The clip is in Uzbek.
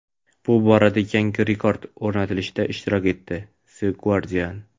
bu borada yangi rekord o‘rnatilishida ishtirok etdi – "The Guardian".